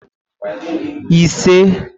ise